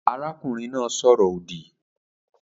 Arákùnrin náà sọ̀rọ̀-òdì